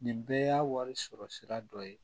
Nin bɛɛ y'a wari sɔrɔ sira dɔ ye